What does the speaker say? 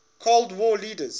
cold war leaders